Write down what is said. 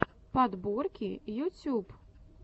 подборки ютюб